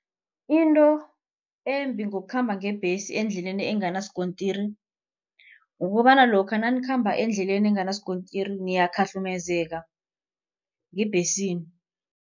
Into embi ngokukhamba ngebhesi endleleni enganasikontiri. Kukobana lokha nanikhamba endleleni enganasikontiri niyakhahlukumezeka ngebhesini.